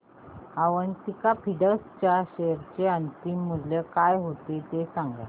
Avanti Feeds च्या share चे अंतिम मूल्य काय होते ते सांगा